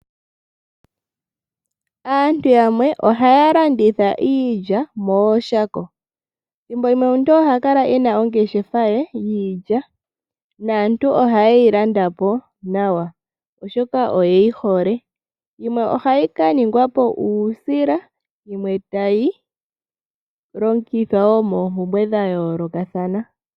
Aantu yamwe ohaya landitha iilya mooshako. Ethimbo limwe omuntu ohakala ena ongeshefa ye yiilya naantu ohayi landa po nawa oshoka oyeyi hole, yimwe ohayi kaningwa po uusila yo yimwe tayi longithwa wo moompumbwa dhayoolokathana.